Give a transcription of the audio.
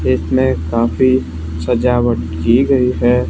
Cake में काफी सजावट की गई है।